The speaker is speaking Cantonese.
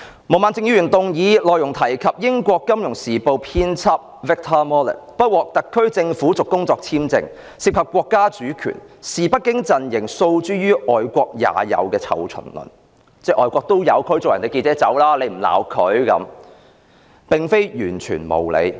毛孟靜議員的議案，提及英國《金融時報》亞洲新聞編輯 Victor MALLET 的工作簽證不獲特區政府續期，涉及國家主權，親北京陣營於是訴諸"外國也有"的"臭蟲論"，指外國也有驅逐記者離開，為何泛民議員又不責罵？